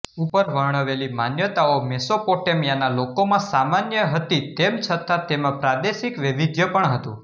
ઉપર વર્ણવેલી માન્યતાઓ મેસેપોટેમીયાના લોકોમાં સામાન્ય હતી તેમ છતાં તેમાં પ્રાદેશિક વૈવિધ્ય પણ હતું